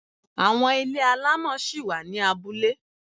Àwọn ilé alámọ̀ ṣí wà ni abúlé.